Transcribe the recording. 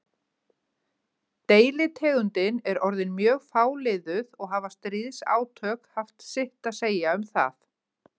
Deilitegundin er orðin mjög fáliðuð og hafa stríðsátök haft sitt að segja um það.